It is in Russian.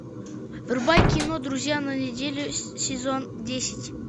врубай кино друзья на неделю сезон десять